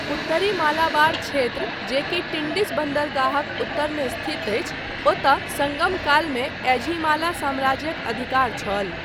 उत्तरी मालाबार क्षेत्र जे कि टिंडिस बन्दरगाहक उत्तरमे स्थित अछि ओतय, सङ्गम कालमे एझिमाला सम्राज्यक अधिकार छल।